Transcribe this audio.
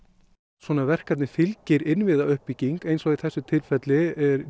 svona verkefni fylgir innviðauppbygging eins og í þessu tilfelli